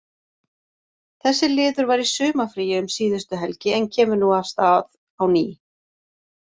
Þessi liður var í sumarfríi um síðustu helgi en kemur nú af stað á ný.